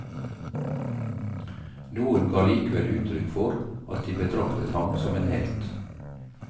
Noen ga likevel uttrykk for at de betraktet ham som en helt.